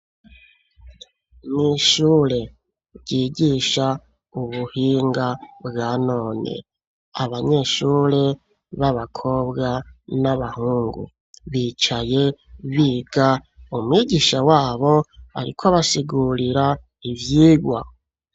Mw'ishure, ryigisha ubuhinga bwa none; abanyeshure b'abakobwa n'abahungu, bicaye biga; umwigisha wabo, ariko abasigurira ivyigwa.